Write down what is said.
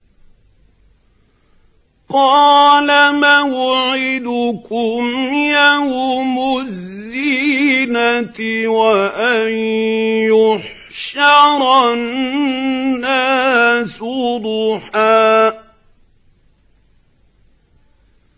قَالَ مَوْعِدُكُمْ يَوْمُ الزِّينَةِ وَأَن يُحْشَرَ النَّاسُ ضُحًى